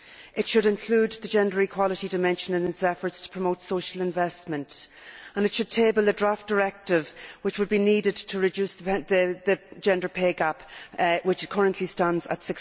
It should include the gender equality dimension in its efforts to promote social investment, and it should table a draft directive which would be needed to reduce the gender pay gap, which currently stands at